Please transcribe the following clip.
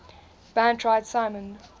band tried simon